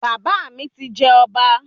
Bàbá mi ti jẹ ọba